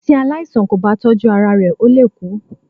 Tí aláìsàn kò bá tọ́jú ara rẹ ó lè kú.